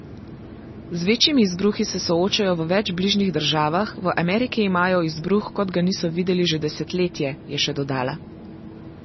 Z večjimi izbruhi se soočajo v več bližnjih državah, v Ameriki imajo izbruh, kot ga niso videli že desetletje, je še dodala.